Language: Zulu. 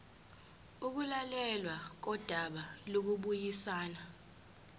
ukulalelwa kodaba lokubuyisana